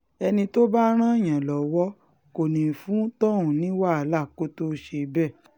ẹni tó bá máa ràn yàn lọ́wọ́ kò ní í fún tọ̀hún ní wàhálà kó tóó ṣe bẹ́ẹ̀